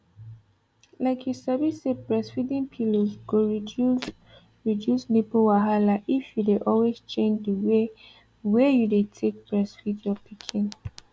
like you sabi say breastfeeding pillows go reduce reduce nipple wahala if you dey always change the way wey you dey take breastfeed your pikin